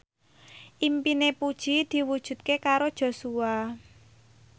impine Puji diwujudke karo Joshua